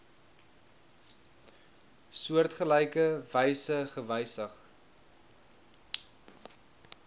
soortgelyke wyse gewysig